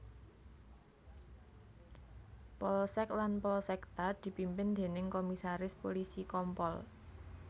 Polsek lan Polsekta dipimpin déning Komisaris Pulisi Kompol